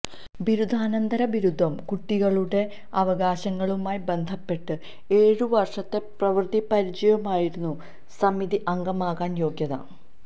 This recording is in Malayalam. ബിരുദാനന്തര ബിരുദവും കുട്ടികളുടെ അവകാശങ്ങളുമായി ബന്ധപ്പെട്ട് ഏഴുവര്ഷത്തെ പ്രവൃത്തി പരിചയവുമായിരുന്നു സമിതി അംഗമാകാന് യോഗ്യത